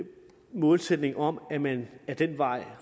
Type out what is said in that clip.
målsætning om at man ad den vej